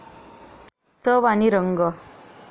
चव आणि रंग.